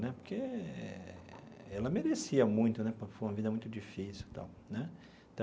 Né porque ela merecia muito né, porque foi uma vida muito difícil e tal né.